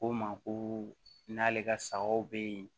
Ko n ma ko n'ale ka sagaw bɛ yen